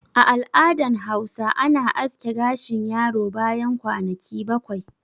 A al'adan Hausa ana aske gashin yaro bayan kwanaki bakwai